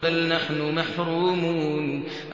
بَلْ نَحْنُ مَحْرُومُونَ